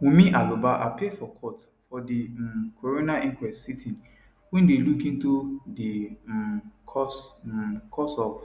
wunmi aloba appear for court for di um coroner inquest sitting wey dey look into di um cause um cause of